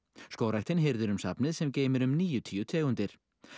skógræktin hirðir um safnið sem geymir um níutíu tegundir